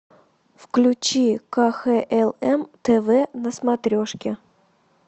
включи кхлм тв на смотрешке